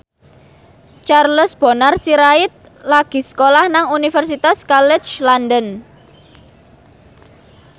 Charles Bonar Sirait lagi sekolah nang Universitas College London